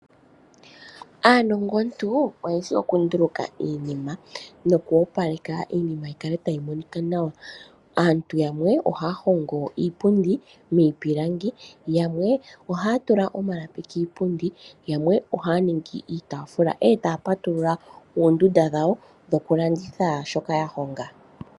Aanongontu oye shi oku nduluka iinima nokoopaleke iinima yi kale tayi monika nawa. Aantu yamwe ohaa hongo iipundi miipilangi, yamwe ohaa tula omalapi kiipundi, yamwe ohaningi iitafula, etaa patulula oondunda dhawo dhokulanditha shoka ya honga.